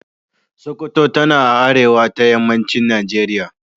Sokoto tana a arewa ta yammacin Najeriya.